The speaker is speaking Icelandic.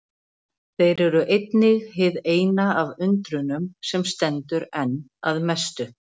Þeir eru einnig hið eina af undrunum sem stendur enn að mestu.